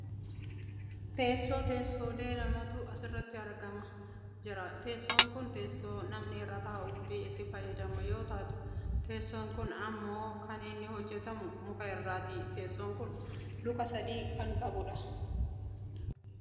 Teessoo, teessoolee lamatu asirratti argamaa jira . Teessoon kun teessoo namni irra taa'uuf itti fayyadamu yoo taatuu, teessoon kun ammoo kan inni hojjatamu muka irraati. Teesoon kun luka sadi qaba.